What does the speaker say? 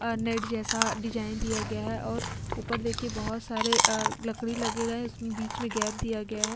और नेट जैसा डिज़ाइन दिया गया है और ऊपर देखिये बहुत सारे अ लकड़ी लगे गए है बिच में गेप दिया गया है।